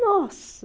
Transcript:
Nossa!